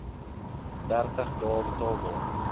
dertig dae betaalbaar